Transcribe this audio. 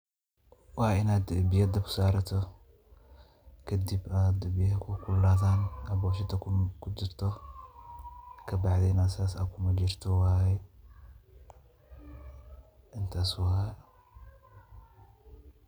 Waa inaad biya dabka saarato, kadib aay biyaha kuu kululaadan, aad boshashada kudarto kadib na aad ku majiirto.